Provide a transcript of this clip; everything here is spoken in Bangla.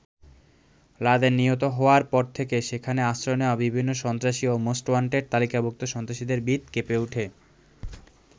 লাদেন নিহত হওয়ার পর থেকে সেখানে আশ্রয় নেওয়া বিভিন্ন সন্ত্রাসী ও মোস্টওয়ান্টেড তালিকাভুক্ত সন্ত্রাসীদের ভিত কেঁপে ওঠে।